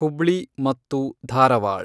ಹುಬ್ಳಿ ಮತ್ತು ಧಾರವಾಡ್